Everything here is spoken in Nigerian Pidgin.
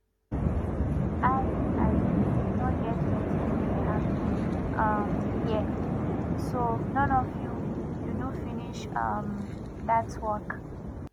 i um no get wetin dey happen um here so none of you you do finish um dat work